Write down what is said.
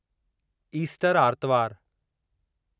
Easter आर्तवार